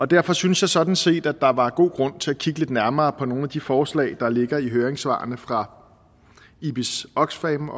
derfor synes jeg sådan set at der var god grund til at kigge lidt nærmere på nogle af de forslag der ligger i høringssvarene fra oxfam